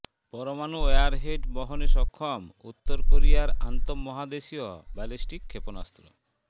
পরমাণু ওয়ারহেড বহনে সক্ষম উত্তর কোরিয়ার আন্তঃমহাদেশীয় ব্যালিস্টিক ক্ষেপণাস্ত্র